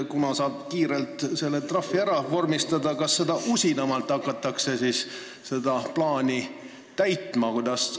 Kui saab trahvid kiirelt ära vormistada, siis äkki hakatakse seda usinamalt seda plaani täitma?